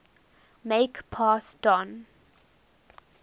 make pass don